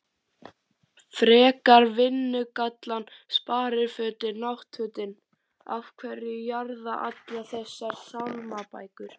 frekar vinnugallann sparifötin náttfötin af hverju jarða allar þessar sálmabækur?